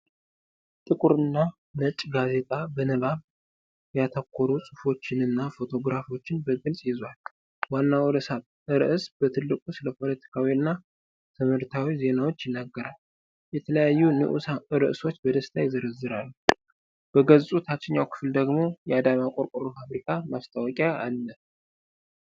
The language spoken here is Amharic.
ጥቁርና ነጭ ጋዜጣ በንባብ ያተኮሩ ጽሑፎችንና ፎቶግራፎችን በግልጽ ይዟል። ዋናው ርዕስ በትልቁ ስለ ፖለቲካዊና ትምህርታዊ ዜናዎች ይናገራል። የተለያዩ ንኡስ ርዕሶች በደስታ ይዘረዘራሉ። በገጹ ታችኛው ክፍል ደግሞ የአዳማ ቆርቆሮ ፋብሪካ ማስታወቂያ አለ።